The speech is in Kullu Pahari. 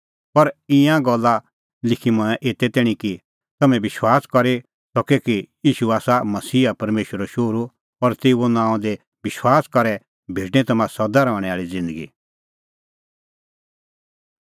पर ईंयां गल्ला लिखी मंऐं एते तैणीं कि तम्हैं विश्वास करी सके कि ईशू ई आसा मसीहा परमेशरो शोहरू और तेऊए नांओंआं दी विश्वास करी करै भेटणीं तम्हां सदा रहणैं आल़ी ज़िन्दगी